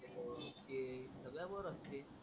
ते सगडे पोर असते.